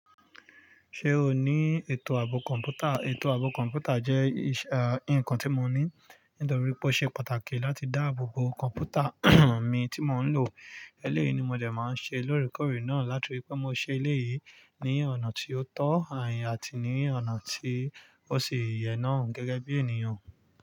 Ṣé o ní ètò ààbò kọ̀ǹpútà? Ètò ààbò kọ̀ǹpútà jẹ́ ìṣà ǹkan tí mo ní, nítorí pé ó ṣe pàtàkì láti dáàbò bo kọ̀ǹpútà mi tí mò ń lò. Eléyìí ni mo dẹ̀ mọ̀ọ ń ṣe lóré kórè náà, làtí pé mo ṣe eléyìí ní ọ̀nà tí ó tọ́ àyà àti ní ọ̀nà tí ó ṣí yè náà gẹ́gẹ́ bí ènìyàn.